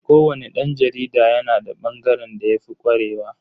Ko wani dan jarida yana da bangaren da yafi kwarewa.